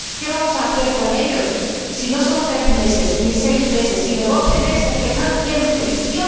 ¿Qué vamos a hacer con ellos, si no son tres ni seis meses, sino doce meses los que están en prisión?